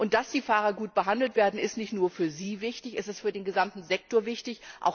Dass die Fahrer gut behandelt werden, ist nicht nur für sie wichtig, es ist für den gesamten Sektor wichtig.